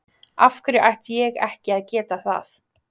Af hverju ætti ég ekki að geta það?